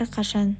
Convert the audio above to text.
әрқашан